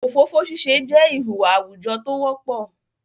ofofo sise je ihuwa awujo t'o wopo